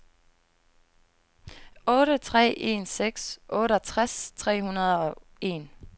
otte tre en seks otteogtres tre hundrede og en